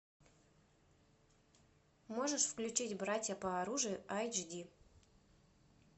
можешь включить братья по оружию айч ди